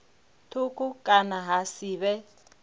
thukhu kana ha si vhe